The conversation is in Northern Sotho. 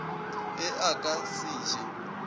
ge a ka se je